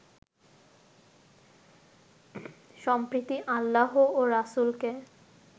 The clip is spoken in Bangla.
সম্প্রতি আল্লাহ ও রাসূলকে